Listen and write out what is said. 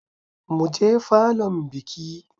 Mu je falon bikin.